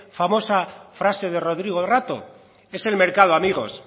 famosa frase de rodrigo rato es el mercado amigos